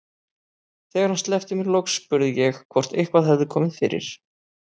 Þegar hann sleppti mér loks spurði ég hvort eitthvað hefði komið fyrir.